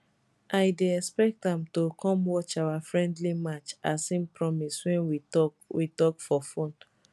i dey expect am to come watch our friendly match as im promise wen we tok we tok for phone